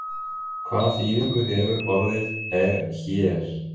Hvað þýðingu hefur orðið er hér?